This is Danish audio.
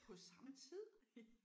På samme tid